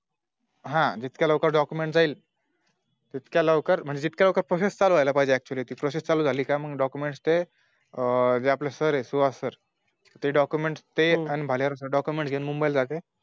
हा जितक्या लवकर Document जाईल तितक्या लवकर म्हणजे जितक्या लवकर Process चालूं व्हायला लागली पाहिजे Actually process चालू झाली का मग Documents ते आपले Sir सुहास Sir आणि भालेराव Sir document घेऊन मुंबईला जातील